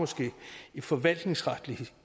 i forvaltningsretlig